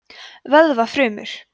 vöðvafrumur